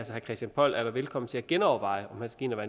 herre christian poll er da velkommen til at genoverveje om han skal ind og